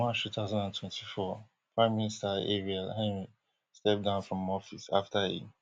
march two thousand and twenty-four prime minister ariel henry step down from office afta e